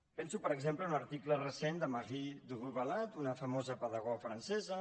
penso per exemple en un article recent de marie duru bellat una famosa pedagoga francesa